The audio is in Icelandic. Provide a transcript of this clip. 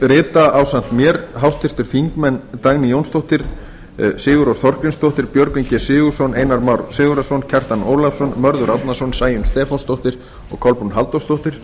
rita ásamt mér háttvirtir þingmenn dagný jónsdóttir sigurrós þorgrímsdóttir björgvin g sigurðsson einar már sigurðarson kjartan ólafsson mörður árnason sæunn stefánsdóttir og kolbrún halldórsdóttir